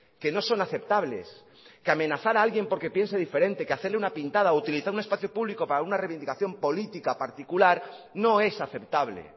que no son aceptables que amenazar a alguien porque piense diferente que hacerle una pintada utilizar un espacio público para una reivindicación política particular no es aceptable